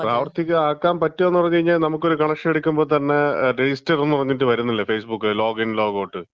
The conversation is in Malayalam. പ്രാവർത്തികം ആക്കാൻ പറ്റോന്ന് പറഞ്ഞ് കഴിഞ്ഞാ നമുക്കൊരു കണക്ഷൻ എടുക്കുമ്പം തന്നെ രജിസ്റ്റർ എന്ന് പറഞ്ഞിട്ട് വരുന്നില്ലേ, ഫേസ്ബുക്കില് ലോഗിൻ ലോഗ് ഔട്ട്,